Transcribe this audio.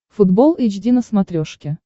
футбол эйч ди на смотрешке